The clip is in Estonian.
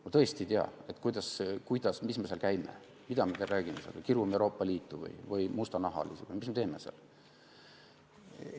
Ma tõesti ei tea, miks me seal käime, mida me seal räägime, kas kirume Euroopa Liitu või mustanahalisi või mis me teeme seal.